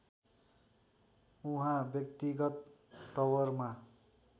उहाँ व्यक्तिगत तवरमा